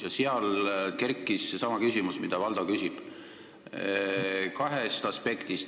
Fraktsioonis tekkis seesama küsimus, mida Valdo küsis, kahest aspektist.